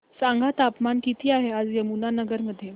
सांगा तापमान किती आहे आज यमुनानगर मध्ये